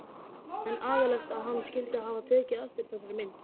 En agalegt að hann skyldi hafa tekið eftir þessari mynd.